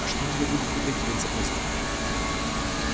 а что у тебя побрякивает за пазухой